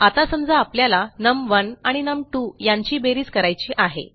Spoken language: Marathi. आता समजा आपल्याला नम1 आणि नम2 यांची बेरीज करायची आहे